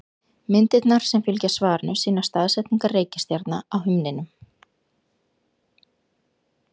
Myndirnar sem fylgja svarinu sýna staðsetningar reikistjarna á himninum.